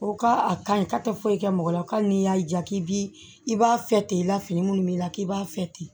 O ka a ka ɲi k'a tɛ foyi kɛ mɔgɔ la hali n'i y'a ja k'i bi i b'a fɛ ten i ka fini munnu b'i la k'i b'a fɛ ten